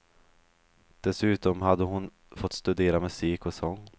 Dessutom hade hon fått studera musik och sång.